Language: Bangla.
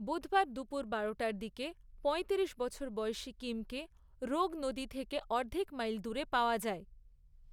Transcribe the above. বুধবার দুপুর বারোটার দিকে পয়ত্রিশ বছর বয়সী কিমকে রোগ নদী থেকে অর্ধেক মাইল দূরে পাওয়া যায়।